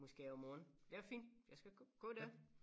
Måske om morgenen det er fint jeg skal gå der